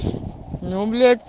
ну блять